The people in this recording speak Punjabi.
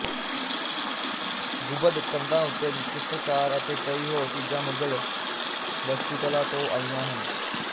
ਗੁੰਬਦ ਕੰਧਾਂ ਉੱਤੇ ਚਿੱਤਰਕਾਰ ਅਤੇ ਕਈ ਹੋਰ ਚੀਜ਼ਾਂ ਮੁਗ਼ਲ ਵਸਤੂਕਲਾ ਤੋਂ ਆਈਆਂ ਹਨ